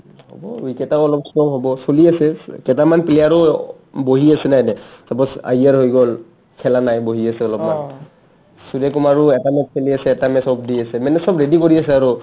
হ'ব , week এটাও অলপ slow হ'ব চলি আছে কেতামান player ও বহি আছিলে এনে suppose আয়াৰ হৈ গ'ল খেলা নাই বহি আছে অলপমান সূৰ্যকুমাৰো এটা match খেলি আছে এটা match ক দি আছে মানে চব ready কাৰি আছে আৰু